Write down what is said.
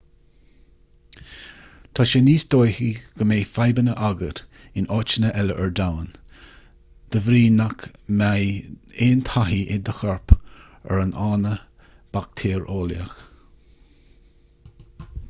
tá sé níos dóichí go mbeidh fadhbanna agat in áiteanna eile ar domhan de bhrí nach mbeidh aon taithí ag do chorp ar an fhána baictéareolaíoch